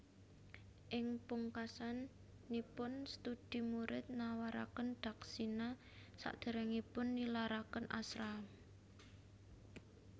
Ing pungkasanipun studi murid nawaraken dakshina sadéréngipun nilaraken ashram